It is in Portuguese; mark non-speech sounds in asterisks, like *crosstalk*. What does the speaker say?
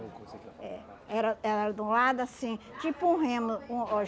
Eh era ela era de um lado assim, tipo um remo um *unintelligible*